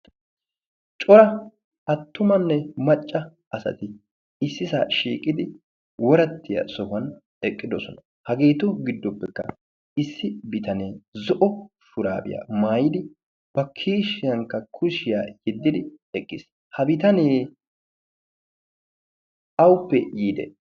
cora attumanne macca asati issi sa shiiqidi worattiya sohuwan eqqidosona. hageetu giddoppekka issi bitanee zo'o shuraabiyaa maayidi bakishiyankka kushiyaa yiddidi eqqiis ha bitanee auppe yiide?